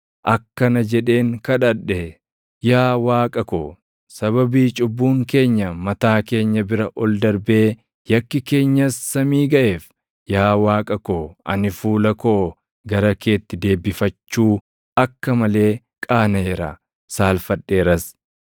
akkana jedheen kadhadhe: “Yaa Waaqa ko, sababii cubbuun keenya mataa keenya bira ol darbee yakki keenyas samii gaʼeef, yaa Waaqa koo ani fuula koo gara keetti deebiffachuu akka malee qaanaʼeera; saalfadheeras.